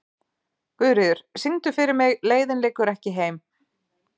Guðríður, syngdu fyrir mig „Leiðin liggur ekki heim“.